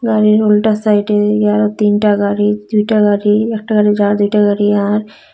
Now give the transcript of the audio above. গাড়ির উল্টা সাইটে আরো তিনটা গাড়ি দুইটা গাড়ি একটা গাড়ি যাওয়ার দুইটা গাড়ি আওয়ার।